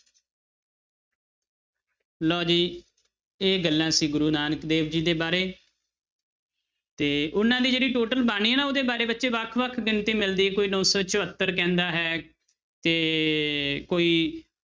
ਲਓ ਜੀ ਇਹ ਗੱਲਾਂ ਸੀ ਗੁਰੂ ਨਾਨਕ ਦੇਵ ਜੀ ਦੇ ਬਾਰੇੇ ਤੇ ਉਹਨਾਂ ਦੀ ਜਿਹੜੀ total ਬਾਣੀ ਹੈ ਨਾ ਉਹਦੇ ਬਾਰੇ ਬੱਚੇ ਵੱਖ ਵੱਖ ਗਿਣਤੀ ਮਿਲਦੀ ਹੈ, ਕੋਈ ਨੋ ਸੌ ਚੁਹੱਤਰ ਕਹਿੰਦਾ ਹੈ ਤੇ ਕੋਈ